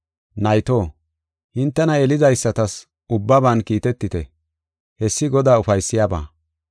Nayto, hintena yelidaysatas ubbaban kiitetite; hessi Godaa ufaysiyabaa.